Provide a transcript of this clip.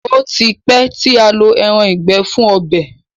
O tí pé tí a ǹ ló èràn ìgbẹ fun ọbẹ.